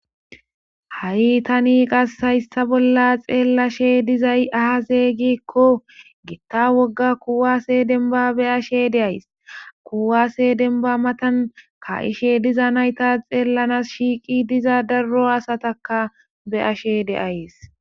Ha'i tani qas hayssa bolla xeellashe dizay aa zeygikko getta wogga kuwaase denba be ashe deays kuwase denba matan ka7ishe diza nayta xeellanas shiiqi diza darro asataka be ashe deays